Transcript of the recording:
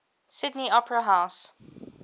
sydney opera house